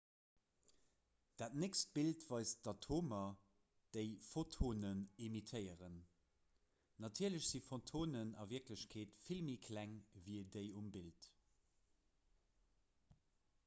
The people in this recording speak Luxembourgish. dat nächst bild weist d'atomer déi photonen emittéieren natierlech si photonen a wierklechkeet vill méi kleng ewéi déi um bild